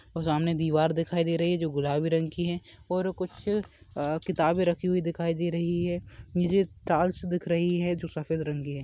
सामने दीवार दिखाई दे रही है जो गुलाबी रंग की है और कुछ किताबें रखी हुई दिखाई दे रही हैं नीचे टाइल्स दिख रही हैं जो सफेद रंग की है।